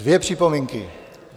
Dvě připomínky.